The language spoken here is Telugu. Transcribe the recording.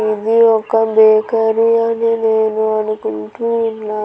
ఇది ఒక బేకరీ అని నేను అనుకుంటూ ఉన్నా.